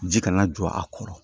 Ji kana jɔ a kɔrɔ